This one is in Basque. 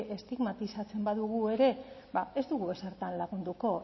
estigmatizatzen badugu ere ez dugu ezertan lagunduko